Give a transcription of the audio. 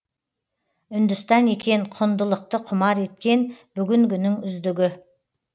үндістан екен құндылықты құмар еткен бүгінгінің үздігі